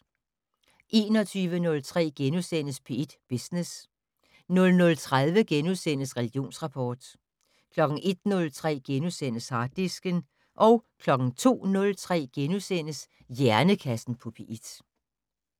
21:03: P1 Business * 00:30: Religionsrapport * 01:03: Harddisken * 02:03: Hjernekassen på P1 *